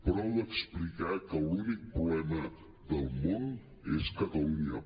prou d’explicar que l’únic problema del món és catalunya